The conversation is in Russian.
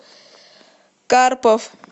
карпов